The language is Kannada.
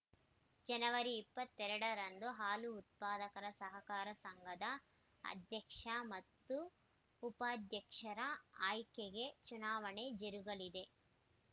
ಜನವರಿ ಇಪ್ಪತ್ತ್ ಎರಡ ರಂದು ಹಾಲು ಉತ್ಪಾದಕರ ಸಹಕಾರ ಸಂಘದ ಅಧ್ಯಕ್ಷ ಮತ್ತು ಉಪಾಧ್ಯಕ್ಷರ ಆಯ್ಕೆಗೆ ಚುನಾವಣೆ ಜರುಗಲಿದೆ